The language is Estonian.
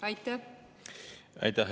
Aitäh!